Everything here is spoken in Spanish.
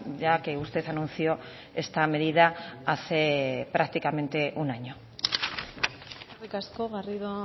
ya que usted anunció esta medida hace prácticamente un año eskerrik asko garrido